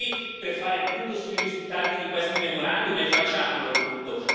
Siamo qui per fare il punto sui risultati di questi memorandum e facciamolo, il punto.